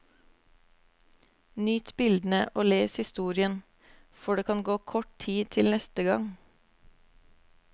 Nyt bildene og les historien, for det kan gå kort tid til neste gang.